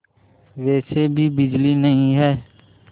वैसे भी बिजली नहीं है